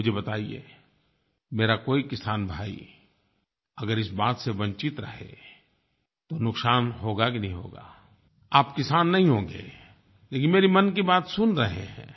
अब मुझे बताइए मेरा कोई किसान भाई अगर इस बात से वंचित रहे तो नुकसान होगा कि नहीं होगा आप किसान नहीं होंगे लेकिन मेरी मन की बात सुन रहे हैं